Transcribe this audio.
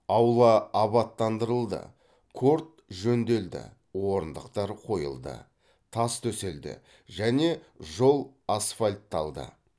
аула абаттандырылды корт жөнделді орындықтар қойылды тас төселді және жол асфальтталды